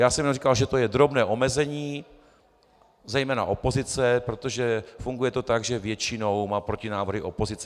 Já jsem jenom říkal, že to je drobné omezení zejména opozice, protože funguje to tak, že většinou má protinávrhy opozice.